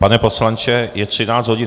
Pane poslanče, je 13 hodin.